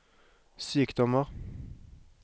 sykdommer